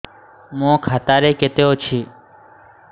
ମୋ ଖାତା ରେ କେତେ ଅଛି